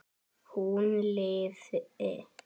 Hún lifi!